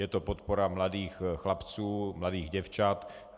Je to podpora mladých chlapců, mladých děvčat.